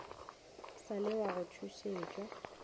sa le wa go tšhošetšwa